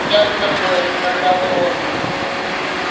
я с тобой сказал рон